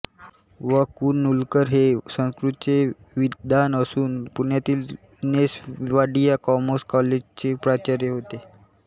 व कृ नूलकर हे संस्कृतचे विद्वान असून पुण्यातील नेस वाडिया कॉमर्स कॉलजचे प्राचार्य होते